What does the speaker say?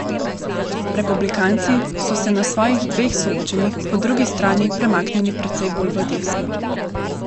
Republikanci so se na svojih dveh soočenjih po drugi strani premaknili precej bolj v desno.